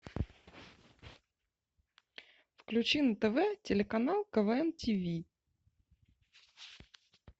включи на тв телеканал квн тв